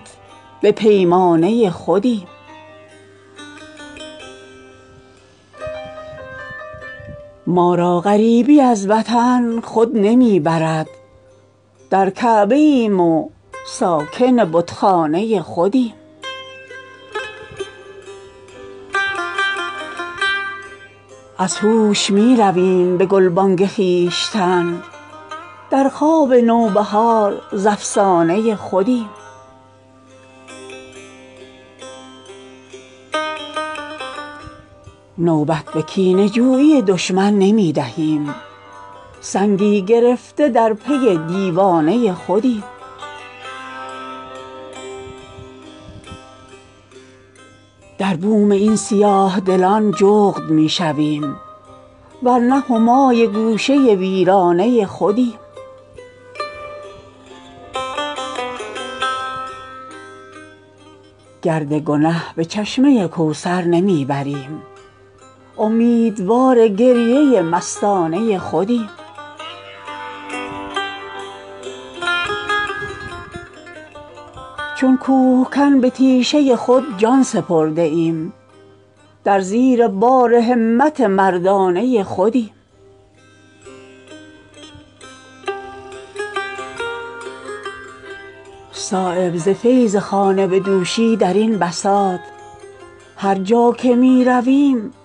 بایست از ازل در کنار رغبتش آن ریختند سبحه پیش زاهدان انداختند نقل پیش می پرستان ریختند بر سر بالین بیماران عشق سنبل خواب پریشان ریختند خاکساران را به چشم کم مبین چون عبیر از زلف جانان ریختند دلبران از قامت همچون خدنگ در جگر ها تخم پیکان ریختند نه لگن در گریه ماغوطه زد شمع ما را خوش به سامان ریختند گوهر جان را سبکروحان عشق چون عرق از جبهه آسان ریختند از محیط تلخکامیهای ما قطره ای در کام عمان ریختند جرعه ای آمدفزون از ظرف ما صبحدم را در گریبان ریختند چون نریزدگوهر دندان خلق خون نعمتهای الوان ریختند صایب از شرم تو ارباب سخن یکقلم در آب دیوان ریختند